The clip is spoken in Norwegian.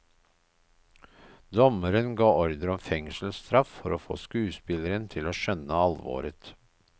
Dommeren ga ordre om fengselsstraff for å få skuespilleren til å skjønne alvoret.